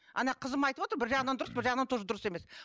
ана қызым айтып отыр бір жағынан дұрыс бір жағынан тоже дұрыс емес